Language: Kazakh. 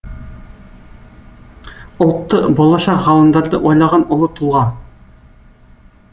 ұлтты болашақ ғалымдарды ойлаған ұлы тұлға